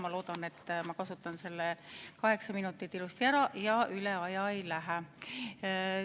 Ma loodan, et ma kasutan need kaheksa minutit ilusti ära ja üle aja ei lähe.